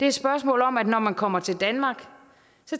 et spørgsmål om at når man kommer til danmark